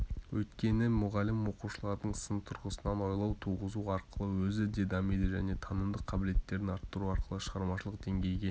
өйткені мұғалім оқушылардың сын тұрғысынан ойлауын туғызу арқылы өзі де дамиды және танымдық қабілеттерін арттыру арқылы шығармашылық деңгейге